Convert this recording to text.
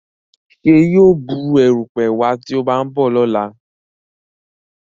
Ṣe yíò Bù erùpẹ̀ wá tí o ba nbọ lọla?